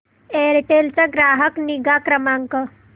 Aircel चा ग्राहक निगा क्रमांक